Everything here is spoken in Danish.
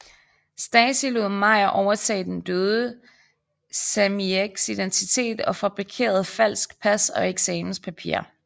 Stasi lod Meyer overtage den døde Samiecs identitet og fabrikerede falsk pas og eksamenspapirer